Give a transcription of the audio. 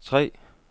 tre